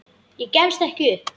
Ég gefst ekki upp.